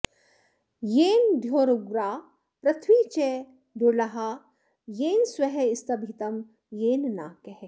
येन द्यौरुग्रा पृथिवी च दृळ्हा येन स्वः स्तभितं येन नाकः